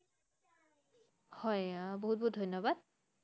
হয়, আহ বহুত বহুত ধন্যবাদ ।